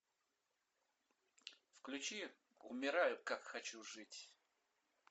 включи умираю как хочу жить